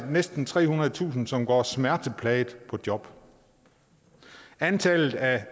næsten trehundredetusind som går smerteplagede på job antallet af